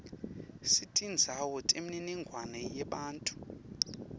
setindzawo temininingwane yebantfu